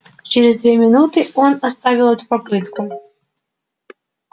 через две минуты он оставил эту попытку